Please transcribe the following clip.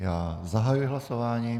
Já zahajuji hlasování.